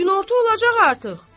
Günorta olacaq artıq.